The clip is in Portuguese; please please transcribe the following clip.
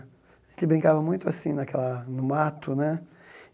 A gente brincava muito assim, naquela no mato né.